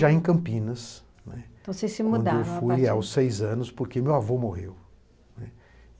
Já em Campinas, né, então vocês se mudaram? quando eu fui aos seis anos, porque meu avô morreu né.